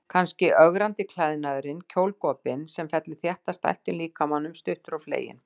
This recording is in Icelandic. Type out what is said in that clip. Kannski ögrandi klæðnaðurinn, kjólgopinn sem fellur þétt að stæltum líkamanum, stuttur og fleginn.